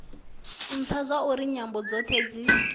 ntha zwauri nyambo dzothe dzi